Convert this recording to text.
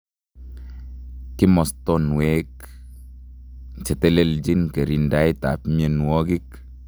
Kimostonwek cheteleljin kirindaet ab mnonwokik